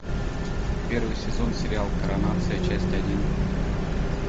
первый сезон сериал коронация часть один